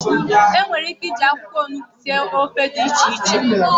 enwere ike iji akwukwo onugbu sie ofe di iche iche?